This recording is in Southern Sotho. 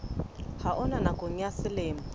ha ona nakong ya selemo